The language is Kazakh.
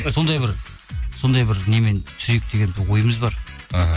сондай бір немен түсірейік деген ойымыз бар іхі